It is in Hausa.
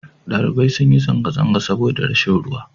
ɗalibai sun yi zanga-zanga saboda rashin ruwa